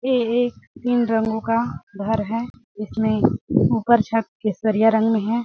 ये एक तीन रंगो का घर है जिसमे ऊपर छत केसरिया रंग में है |